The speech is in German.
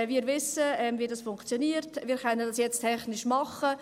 Wir wissen, wie es funktioniert, und technisch können wir es jetzt machen.